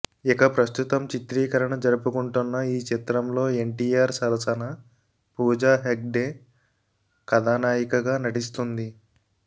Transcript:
ఇక ప్రస్తుతం చిత్రీకరణ జరుపుకుంటున్న ఈ చిత్రంలో ఎన్టీఆర్ సరసన పూజా హెగ్డే కథనాయికగా నటిస్తుంది